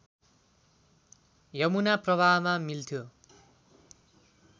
यमुना प्रवाहमा मिल्थ्यो